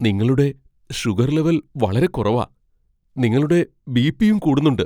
നിങ്ങളുടെ sugar level വളരെ കുറവാ, നിങ്ങളുടെ ബി. പി. യും കൂടുന്നുണ്ട് .